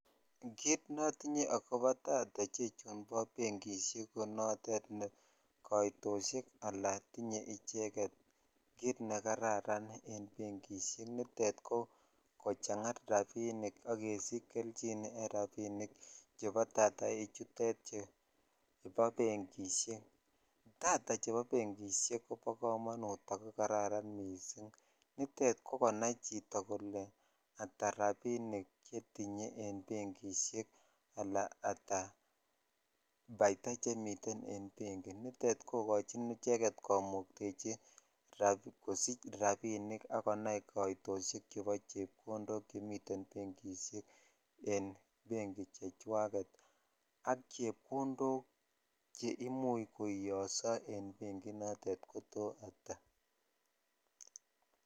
Kit notinye akobo data nebo bengishek ko notet koitoshek ala tinye icheget en bengishek tutet ko kochang rabinik ak kesich jelchin en rabinikvchebo data ichutet chubo bengishek data chebo bengishek kobo komonut ak kararan nitet ko kanai chito kole ata rabinim chetinye en bengishek ala ata baita che miten en bengik nitet kokochin komuktechin icheget kosich rabinik akonai koitoshek chebo chepkondo chemiten bengishek en bengik chechwaget ak chepkonfok che imuch koiyoso en bengik inoton ko to ata.